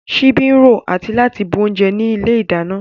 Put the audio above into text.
Ṣíbí ń ro àti láti bu oúnjẹ ní ilé ìdáná